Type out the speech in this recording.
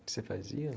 Você fazia?